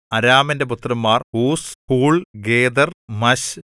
അരാമിന്റെ പുത്രന്മാർ Uz Hul Gether Mash